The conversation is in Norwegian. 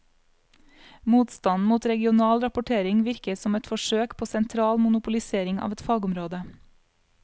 Motstanden mot regional rapportering virker som et forsøk på sentral monopolisering av et fagområde.